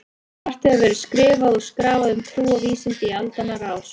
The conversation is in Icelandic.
Margt hefur verið skrifað og skrafað um trú og vísindi í aldanna rás.